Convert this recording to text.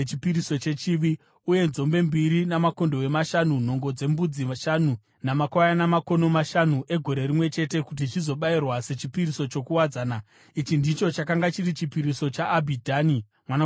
uye nzombe mbiri makondobwe mashanu, nhongo dzembudzi shanu namakwayana makono mashanu egore rimwe chete, kuti zvizobayirwa sechipiriso chokuwadzana. Ichi ndicho chakanga chiri chipiriso chaAbhidhani mwanakomana waGidheoni.